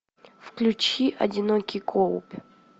включи одинокий коуп